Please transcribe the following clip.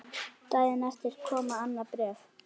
Daginn eftir kom annað bréf.